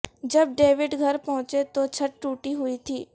جب ڈیوڈ گھر پہنچے تو چھٹ ٹوٹی ہوئی تھی